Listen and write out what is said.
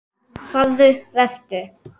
Farðu- Vertu.